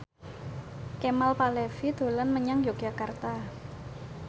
Kemal Palevi dolan menyang Yogyakarta